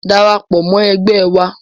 Darapọ̀ mọ́ ẹgbẹ́ wa.